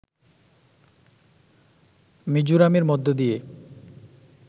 মিজোরামের মধ্যে দিয়ে